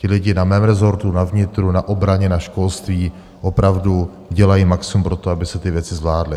Ti lidi na mém rezortu, na vnitru, na obraně, na školství, opravdu dělají maximum pro to, aby se ty věci zvládly.